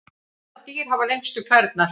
Hvaða dýr hafa lengstu klærnar?